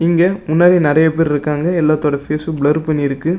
இங்க முன்னாடி நறைய பேர் இருக்காங்க எல்லாத்தோட ஃபேஸ்ஸு பிளர் பண்ணியிருக்கு.